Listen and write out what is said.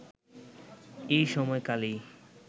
এই সময় কালেই